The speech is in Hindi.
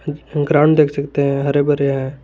ग्राउंड देख सकते हैं हरे भरे हैं।